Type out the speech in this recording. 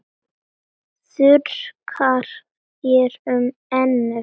Þurrkar þér um ennið.